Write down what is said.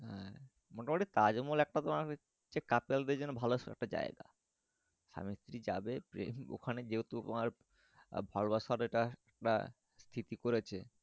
হ্যাঁ মোটা মুটি তাজমহল এক টা তোমার couple দেড় জন্য ভালো একটা যাই গা স্বামী স্ত্রী যাবে গিয়ে ওখানে যেহেতু তোমার ভালোবাসার এটা একটা সৃতি করেছে।